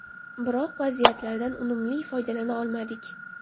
Biroq vaziyatlardan unumli foydalana olmadik.